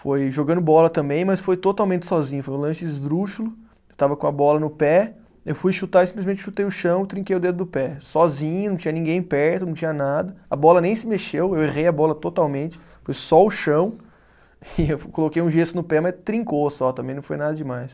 foi jogando bola também, mas foi totalmente sozinho, foi um lance esdrúxulo, eu estava com a bola no pé, eu fui chutar e simplesmente chutei o chão, trinquei o dedo do pé, sozinho, não tinha ninguém perto, não tinha nada, a bola nem se mexeu, eu errei a bola totalmente, foi só o chão, e eu coloquei um gesso no pé, mas trincou só, também não foi nada demais.